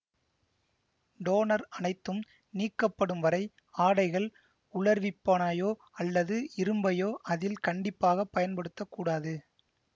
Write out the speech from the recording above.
toner அனைத்தும் நீக்கப்படும் வரை ஆடைகள் உலர்விப்பானயோ அல்லது இரும்பையோ அதில் கண்டிப்பாக பயன்படுத்த கூடாது